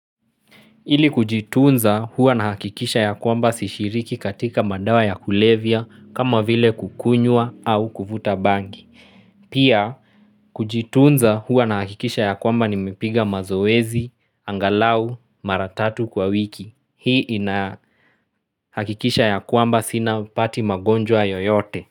Ili kujitunza huwa na hakikisha ya kwamba sishiriki katika madawa ya kulevya kama vile kukunywa au kuvuta bangi. Pia kujitunza huwa na hakikisha ya kwamba nimepiga mazoezi, angalau, maratatu kwa wiki. Hii ina hakikisha ya kwamba sina pati magonjwa yoyote.